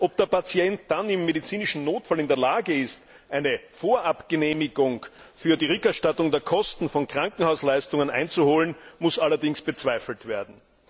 Ob der Patient dann im medizinischen Notfall in der Lage ist, eine Vorabgenehmigung für die Rückerstattung der Kosten für Krankenhausleistungen einzuholen, muss allerdings bezweifelt werden.